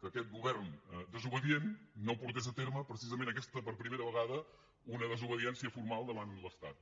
que aquest govern desobedient no portés a terme precisament per primera vegada una desobediència formal davant l’estat